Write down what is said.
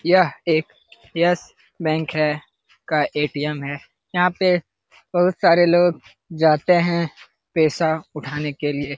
यहां एक Yes Bank है का ए.टी.एम. है। यहां पे बहुत सारे लोग जाते हैं पैसा उठाने के लिए।